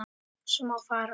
svo má fara